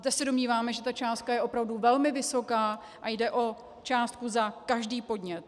Zde se domníváme, že ta částka je opravdu velmi vysoká, a jde o částku za každý podnět.